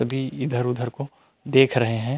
सभी इधर-उधर को देख रहे है।